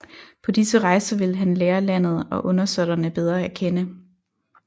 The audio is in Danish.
På disse rejser ville han lære landet og undersåtterne bedre at kende